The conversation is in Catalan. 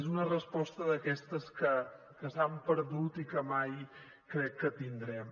és una resposta d’aquestes que s’han perdut i que mai crec que tindrem